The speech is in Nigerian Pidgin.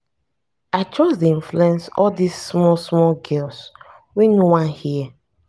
i just dey influence all dis small small girls wey no wan hear.